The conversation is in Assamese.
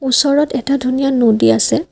ওচৰত এটা ধুনীয়া নদী আছে।